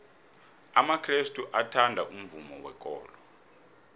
amakrestu athanda umvumo wekolo